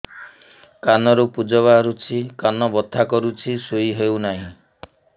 କାନ ରୁ ପୂଜ ବାହାରୁଛି କାନ ବଥା କରୁଛି ଶୋଇ ହେଉନାହିଁ